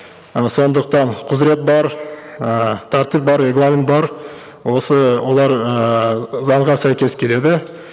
ы сондықтан құзырет бар ыыы тәртіп бар регламент бар осы олар ыыы заңға сәйкес келеді